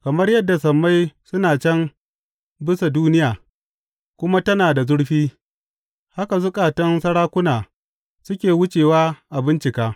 Kamar yadda sammai suna can bisa duniya kuma tana da zurfi, haka zukatan sarakuna suka wuce a bincika.